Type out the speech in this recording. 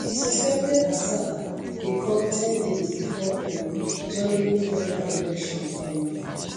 di suspected attack dey come ten days bifor um germany federal election um